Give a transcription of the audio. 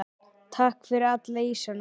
Takk fyrir alla ísana.